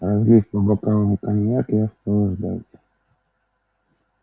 разлив по бокалам коньяк я стал ждать